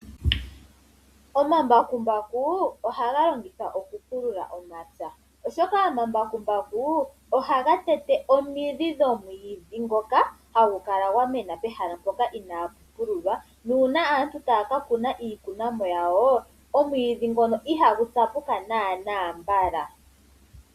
Omambakumbaku ohaga longithwa oku pulula omapya, oshoka ohaga tete omidhi dhomwiidhi ngoka hagu kala gwa mena pehala mpoka inapu pululwa. Na uuna aantu taya ka kuna iikunomwa yawo, omwiidhi ngoka ihagu tsapuka nanaa mbala.